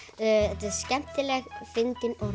þetta er skemmtileg fyndin og